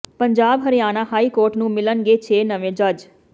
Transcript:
Punjab Haryana high court ਨੂੰ ਮਿਲਣਗੇ ਛੇ ਨਵੇਂ ਜੱਜ